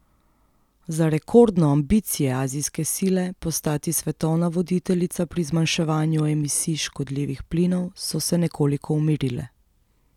Za rekordno Ambicije azijske sile postati svetovna voditeljica pri zmanjševanju emisij škodljivih plinov so se nekoliko umirile.